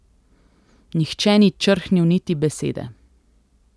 Nihče ni črhnil niti besede.